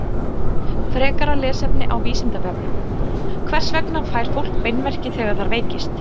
Frekara lesefni á Vísindavefnum: Hvers vegna fær fólk beinverki þegar það veikist?